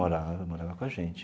Morava, morava com a gente.